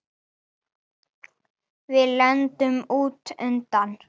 Við lendum út undan.